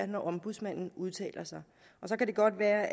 når ombudsmanden udtaler sig og så kan det godt være